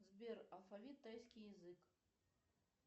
сбер алфавит тайский язык